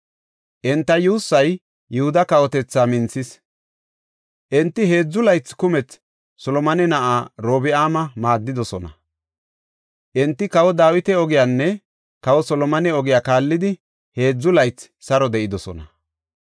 Enta yuussay Yihuda kawotethaa minthis; enti heedzu laythi kumethi Solomone na7aa Orobi7aama maaddidosona. Enti kawa Dawita ogiyanne kawa Solomone ogiya kaallidi, heedzu laythi saro de7idosona.